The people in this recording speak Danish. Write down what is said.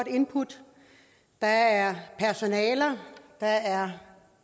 input der er personale der er